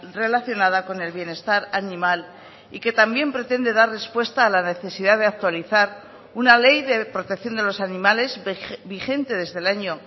relacionada con el bienestar animal y que también pretende dar respuesta a la necesidad de actualizar una ley de protección de los animales vigente desde el año